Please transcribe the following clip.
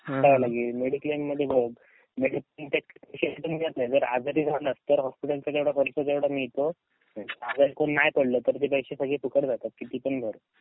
Mediclaim मध्ये बघ जर आजारी झालं तर हॉस्पिटल चा जेव्हडा खर्च तेव्हडा मिळतो, आजारी कोणी नाय पडलं तर ते पैसे सगळे फुकट जातात किती पण भर.